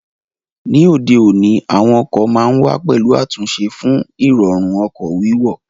Ní òde òní, àwọn ọkọ̀ ma ń wà pẹ̀lú àtúnṣe fún Ìrọ̀rùn ọkọ̀ wíwọ̀